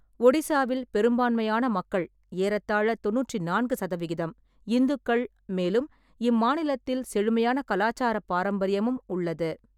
ஒடிசாவில் பெரும்பான்மையான மக்கள் (ஏறத்தாழ தொண்ணூற்றி நான்கு சதவிகிதம்) இந்துக்கள், மேலும் இம்மாநிலத்தில் செழுமையான கலாச்சாரப் பாரம்பரியமும் உள்ளது.